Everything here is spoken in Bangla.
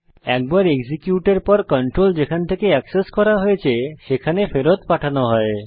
একবার এক্সিকিউটের পর কন্ট্রোল যেখান থেকে অ্যাক্সেস করা হয়েছে সেখানে ফেরত পাঠানো হবে